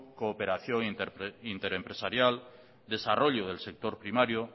cooperación inter empresarial desarrollo del sector primario